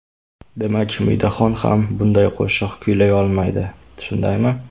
Demak, Umidaxon ham bunday qo‘shiq kuylay olmaydi, shundaymi?